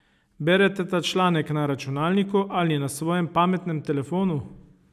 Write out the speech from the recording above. Berete ta članek na računalniku ali na svojem pametnem telefonu?